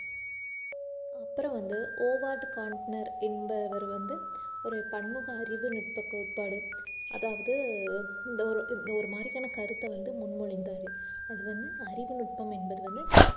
அப்புறம் வந்து என்பவர் வந்து ஒரு பன்முக அறிவுநுட்ப கோட்பாடு அதாவது இந்த ஒரு இந்த ஒரு மாதிரியான கருத்தை வந்து முன்மொழிந்தாரு அது வந்து அறிவு நுட்பம் என்பது வந்து